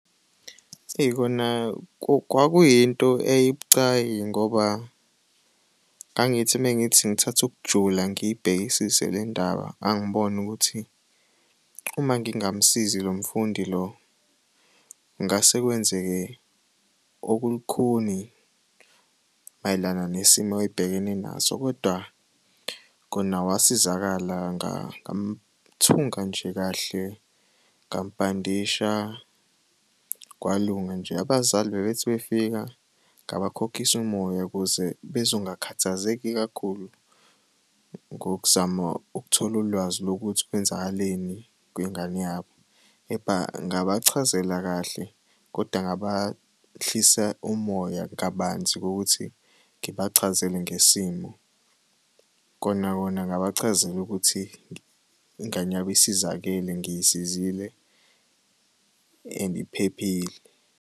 Eyi kona kwakuyinto eyayibucayi ngoba ngangithi uma ngithi ngithatha ukujula ngiyibhekisise le ndaba ngangibona ukuthi uma ngingamusizi lo mfundi lo kungase kwenzeke okulukhuni mayelana nesimo ayebhekene naso, kodwa kona wasizakala ngamthunga nje kahle ngamubhandisha kwalunga nje. Abazali bebethi befika ngabakhokhisa umoya ukuze bezongakhathazeki kakhulu ngokuzama ukuthola ulwazi lokuthi kwenzakaleni kwingane yabo, kepha ngabachazela kahle koda ngabahlisa umoya kabanzi ngokuthi ngibachazele ngesimo. Kona kona ngabachazela ukuthi ingane yabo isizakele ngiyisizile and iphephile.